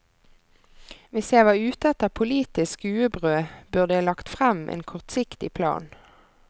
Hvis jeg var ute etter politisk skuebrød, burde jeg lagt frem en kortsiktig plan.